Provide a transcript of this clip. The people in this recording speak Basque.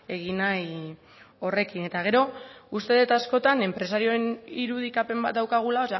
egin nahi horrekin eta gero uste det askotan enpresarioen irudikapen bat daukagula